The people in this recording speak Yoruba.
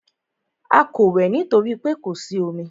A kò wẹ̀ nítorí pé kò sí omi.